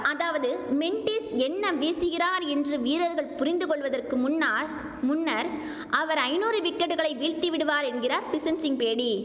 அதாவது மென்டிஸ் என்ன வீசுகிறார் என்று வீரர்கள் புரிந்து கொள்வதற்கு முன்னால் முன்னர் அவர் ஐநூறு விக்கெட்டுகளை வீழ்த்தி விடுவார் என்கிறார் பிஷன்சிங் பேடி